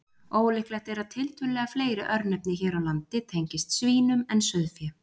Ólíklegt er að tiltölulega fleiri örnefni hér á landi tengist svínum en sauðfé.